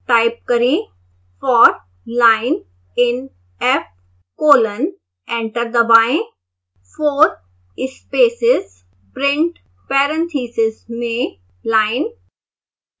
type करें for line in f colon enter दबाएं